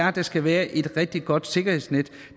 at der skal være et rigtig godt sikkerhedsnet